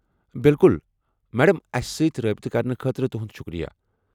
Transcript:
بالکل، مڈم۔ اَسہِ سۭتۍ رٲبطہٕ کرنہٕ خٲطرٕ تُہُنٛد شکریہ ۔